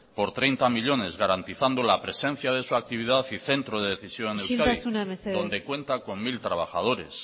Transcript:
por treinta millónes garantizando la presencia de su actividad y centro de decisión en euskadi isiltasuna mesedez donde cuenta con mil trabajadores